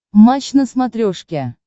матч на смотрешке